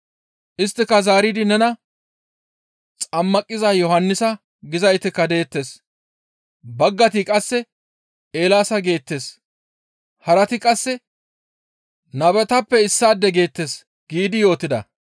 Isttika zaaridi nena, «Xammaqiza Yohannisa gizaytikka deettes, baggayti qasse Eelaasa geettes; harati qasse nabetappe issaade geettes» giidi yootida.